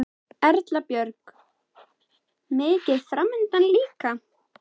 Erla Björg: Mikið framundan líka?